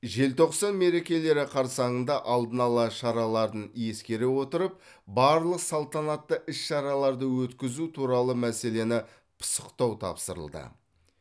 желтоқсан мерекелері қарсаңында алдын алу шараларын ескере отырып барлық салтанатты іс шараларды өткізу туралы мәселені пысықтау тапсырылды